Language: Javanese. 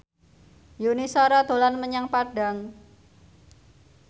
Yuni Shara dolan menyang Padang